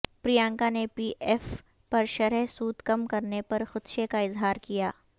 پرینکا نے P F پر شرح سود کم کرنے پر خدشے کا اظہار کیا